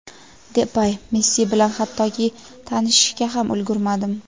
Depay: "Messi bilan hattoki tanishishga ham ulgurmadim.".